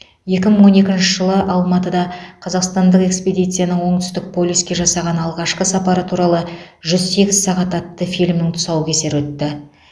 екі мың он екінші жылы алматыда қазақстандық экспедицияның оңтүстік полюске жасаған алғашқы сапары туралы жүз сегіз сағат атты фильмнің тұсаукесері өтті